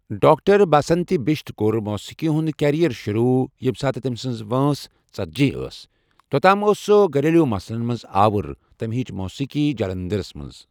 doctor Basanti Bisht کور موٗسیٖقی ہُنٛد کریر شۆروٗع یم ساتہٕ تمسنز وٲنٛس ژتٔجی أس توتھ تام أس سہ گلیروں مسل مَنٛز آور تم ہیچھ موٗسیٖقی جلندرس مَنٛز